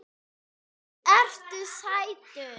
Mikið ertu sætur.